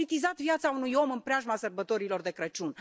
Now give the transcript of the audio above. Am politizat viața unui om în preajma Sărbătorilor de Crăciun.